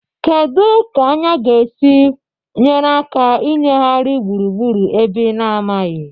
Kedu ka anya ga-esi nyere aka ịnyagharị gburugburu ebe ị na-amaghị?